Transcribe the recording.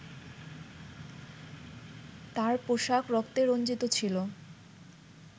তার পোশাক রক্তে রঞ্জিত ছিলো